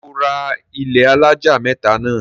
ṣé ó ra ilẹ́ alájà mẹ́tà náà?